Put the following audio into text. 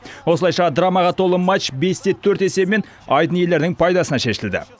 осылайша драмаға толы матч бесте төрт есебімен айдын иелерінің пайдасына шешілді